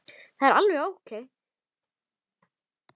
Það er alveg ókei.